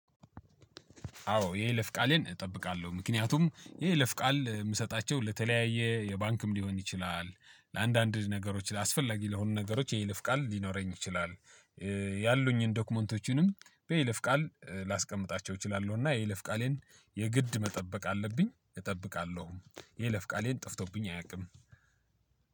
አዎ የይለፍ ቃሌን እጠብቃለሁ ምክንያቱም የይለፍ ቃል የምሰጣቸው ለተለያየ የባንክም ሊሆን ይችላል ለአንዳንድ ነገሮች አስፈለጊ ለሆኑ ነገሮች የይልፍ ቃል ሊኖረኝ ይችላል። ያሉኝን ዶክመንቶችንም በይለፍ ቃል ላስቀምጣቸው እችላለሁ። እና የይለፍ ቃሌን የግድ መጠበቅ አለብኝ እጠብቃለሁ። የይለፍ ቃሌ ጠፍቶብኝ አያቅም።